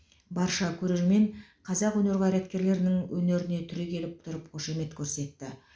барша көрермен қазақ өнер қайраткерлерінің өнеріне түрегеліп тұрып қошамет көрсетті